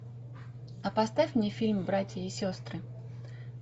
а поставь мне фильм братья и сестры